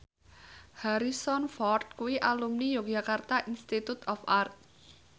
Harrison Ford kuwi alumni Yogyakarta Institute of Art